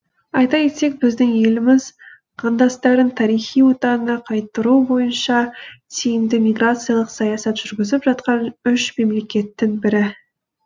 айта кетсек біздің еліміз қандастарын тарихи отанына қайтару бойынша тиімді миграциялық саясат жүргізіп жатқан үш мемлекеттің бірі